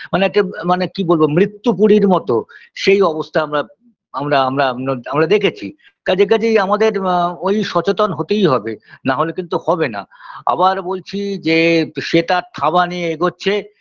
মানে একটা মানে কী বলবো মৃত্যু পূরীর মতো সেই অবস্থা আমরা আমরা আমরা আম আমরা দেখেছি কাজে কাজেই আমাদের আ ঐ সচেতন হতেই হবে না হলে কিন্তু হবে না আবার বলছি যে সে তার থাবা নিয়ে এগোচ্ছে